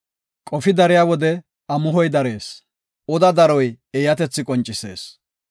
Qofi dariya wode amuhoy darees; oda daroy eeyatethi qoncisees.